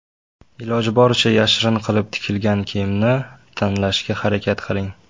Iloji boricha yashirin qilib tikilgan kiyimni tanlashga harakat qiling.